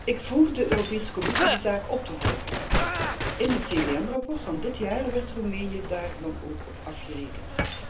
Ik vroeg de Europese Commissie de zaak op te volgen. In het CVM rapport van dit jaar werd Roemenië daar dan ook op afgerekend.